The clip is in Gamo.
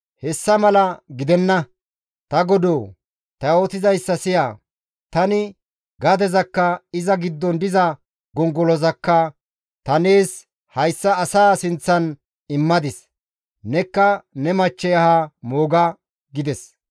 «Hessa mala gidenna; ta godoo! Ta yootizayssa siya; tani gadezakka iza giddon diza gongolozakka ta nees hayssa asaa sinththan immadis; nekka ne machchey ahaa mooga» gides.